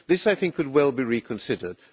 This could well be reconsidered.